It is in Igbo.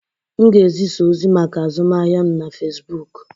M ga-ezịza ozị maka azụmahịa m na Fesbuk